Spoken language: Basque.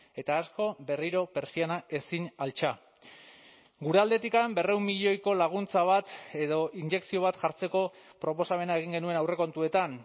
eta asko berriro pertsiana ezin altxa gure aldetik berrehun milioiko laguntza bat edo injekzio bat jartzeko proposamena egin genuen aurrekontuetan